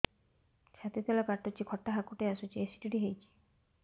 ଛାତି ତଳେ କାଟୁଚି ଖଟା ହାକୁଟି ଆସୁଚି ଏସିଡିଟି ହେଇଚି